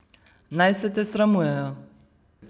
Naj se te sramujejo.